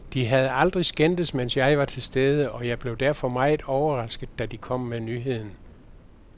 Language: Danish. De havde aldrig skændtes, mens jeg var til stede og jeg blev derfor meget overrasket da de kom med nyheden.